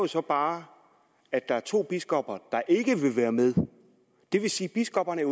så bare at der er to biskopper der ikke vil være med det vil sige at biskopperne